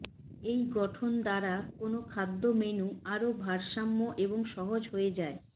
এই গঠন দ্বারা কোন খাদ্য মেনু আরও ভারসাম্য এবং সহজ হয়ে যায়